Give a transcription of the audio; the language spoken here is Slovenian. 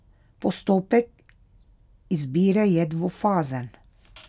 Postopek izbire je dvofazen.